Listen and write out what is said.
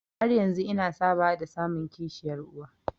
Har yanzu ina sabawa da samun kishiyar uwa.